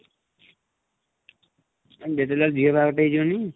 ଯେତେ ଯାହା ହେଲେ ଝିଅ ବାହାଘର ଟେ ହେଇଯିବନି?